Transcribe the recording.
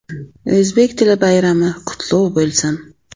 O‘zbek tili bayrami qutlug‘ bo‘lsin!